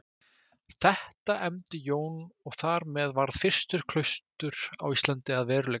Þetta efndi Jón og þar með varð fyrsta klaustur á Íslandi að veruleika.